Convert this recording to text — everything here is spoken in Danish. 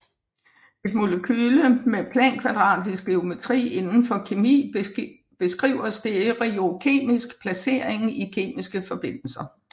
Et molekyle med plankvadratisk geometri inden for kemi beskriver stereokemisk placering i kemiske forbindelser